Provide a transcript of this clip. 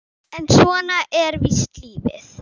En svona er víst lífið.